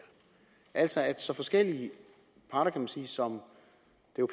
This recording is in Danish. altså sådan at så forskellige parter kan man sige som